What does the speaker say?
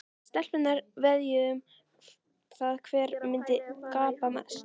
Stelpurnar veðjuðu um það hver myndi gapa mest.